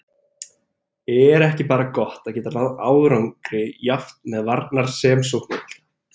Er ekki bara gott að geta náð árangri jafnt með varnar- sem sóknarbolta?